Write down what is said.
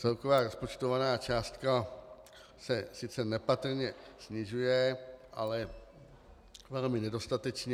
Celková rozpočtovaná částka se sice nepatrně snižuje, ale velmi nedostatečně.